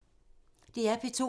DR P2